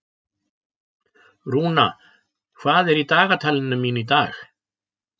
Rúna, hvað er í dagatalinu mínu í dag?